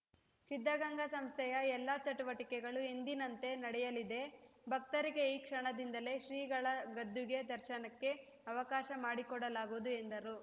ಸಿದ್ಧಗಂಗಾ ಸಂಸ್ಥೆಯ ಎಲ್ಲ ಚಟುವಟಿಕೆಗಳು ಎಂದಿನಂತೆ ನಡೆಯಲಿದೆ ಭಕ್ತರಿಗೆ ಈ ಕ್ಷಣದಿಂದಲೇ ಶ್ರೀಗಳ ಗದ್ದುಗೆ ದರ್ಶನಕ್ಕೆ ಅವಕಾಶ ಮಾಡಿಕೊಡಲಾಗುವುದು ಎಂದರು